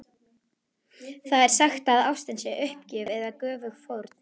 Það er sagt að ástin sé uppgjöf eða göfug fórn.